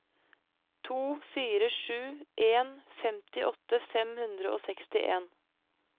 to fire sju en femtiåtte fem hundre og sekstien